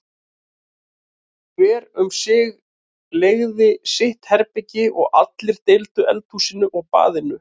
Hver um sig leigði sitt herbergi og allir deildu eldhúsinu og baðinu.